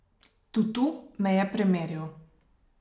Tutu me je premeril.